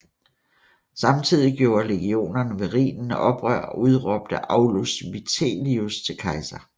Samtidig gjorde legionerne ved Rhinen oprør og udråbte Aulus Vitellius til kejser